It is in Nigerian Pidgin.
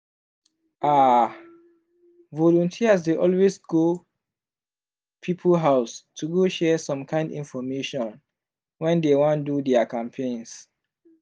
ah! volunteers dey always go people house to go share some kind infomation when dey wan do their campaigns.